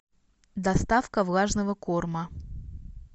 доставка влажного корма